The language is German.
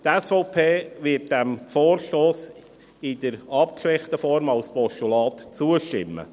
Die SVP wird diesem Vorstoss in der abgeschwächten Form als Postulat zustimmen.